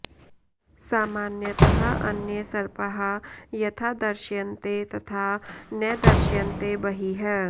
सामान्यतः अन्ये सर्पाः यथा दृश्यन्ते तथा न दृश्यन्ते बहिः